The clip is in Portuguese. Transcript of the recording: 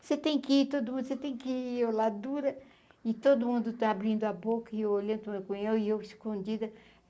Você tem que ir todo mundo, você tem que ir, e eu lá dura, e todo mundo está abrindo a boca, e eu olhando, e eu escondida.